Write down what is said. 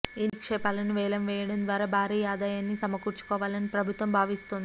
ఈ నిక్షేపాలను వేలం వేయడం ద్వారా భారీ ఆదాయాన్ని సమకూర్చుకోవాలని ప్రభుత్వం భావిస్తోంది